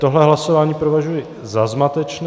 Tohle hlasování prohlašuji za zmatečné.